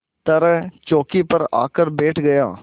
तरह चौकी पर आकर बैठ गया